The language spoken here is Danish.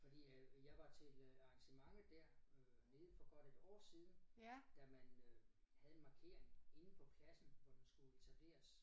Fordi øh jeg var til øh arrangementet der øh nede for godt et år siden da man øh havde en markering inde på pladsen hvor den skulle etableres